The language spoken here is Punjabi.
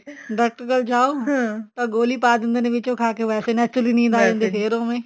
ਡਾਕਟਰ ਕੋਲ ਜਾਓ ਤਾਂ ਗੋਲੀ ਪਾ ਦਿੰਦੇ ਨੇ ਵਿੱਚ ਉਹ ਖਾ ਕੇ ਵੈਸੇ naturally ਨੀਂਦ ਆ ਜਾਂਦੀ ਆ ਫੇਰ ਉਵੇਂ